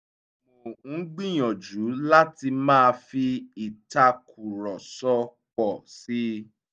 mo ń gbìyànjú láti má fi ìtàkùrọ̀sọ pọ̀ síi